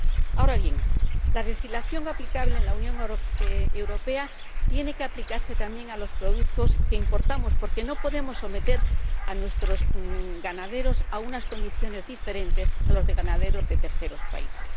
Ahora bien, la legislación aplicable en la Unión Europea tiene que aplicarse también a los productos que importamos, porque no podemos someter a nuestros ganaderos a unas condiciones diferentes de las de los ganaderos de terceros países.